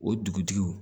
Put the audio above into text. O dugutigiw